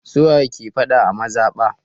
Su waye ke faɗa a mazaɓa?